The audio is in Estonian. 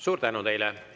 Suur tänu teile!